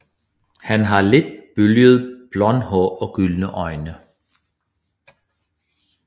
Han har let bølget blond hår og gyldne øjne